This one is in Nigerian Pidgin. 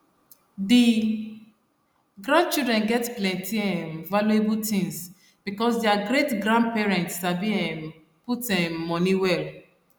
the grandchildren get plenty um valuable things because their greatgrandparents sabi um put um money well